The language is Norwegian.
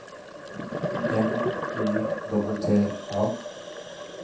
N Y T T A